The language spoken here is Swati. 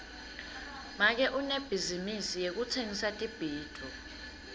make unebhizinisi yekutsengisa tibhidvo